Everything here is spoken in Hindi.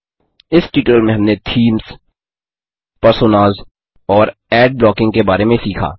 इस ट्यूटोरियल में हमने थीम्स पर्सोनास और एड ब्लॉकिंग के बारे में सीखा